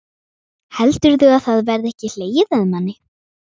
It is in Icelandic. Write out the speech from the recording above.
Heldurðu að það verði ekki hlegið að manni?